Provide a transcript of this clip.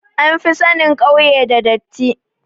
An fi sanin kauye da datti